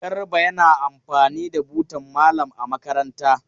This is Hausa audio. Garba yana amfani da butan malam a makaranta.